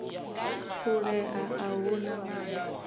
phulea a hu na ṅanga